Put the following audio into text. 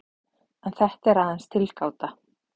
En þetta er aðeins tilgáta.